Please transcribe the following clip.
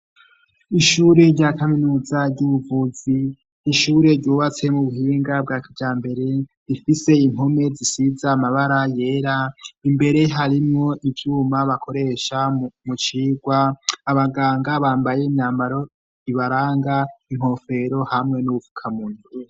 Ishure rya kaminuza ry'ubuvuzi n'ishure ryubatse mu buhinga bwa kijambere rifise inpome zisize amabara yera imbere harimwo ivyuma bakoresha mucigwa, abaganga bambaye imyambaro ibaranga inkofero hamwe n'ubufukamunwa.